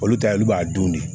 Olu ta ye olu b'a dun de